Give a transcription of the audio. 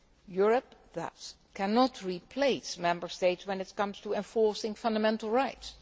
Europe, therefore, cannot replace Member States when it comes to enforcing fundamental rights.